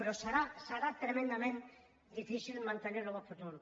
però serà tremendament difícil mantenir ho en el futur